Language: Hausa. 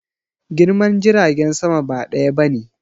Girman jiragen sama ba ɗaya bane